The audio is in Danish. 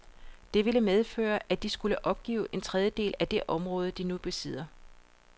Det ville medføre, at de skulle opgive en tredjedel af det område, de nu besidder.